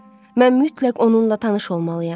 Mən mütləq onunla tanış olmalıyam.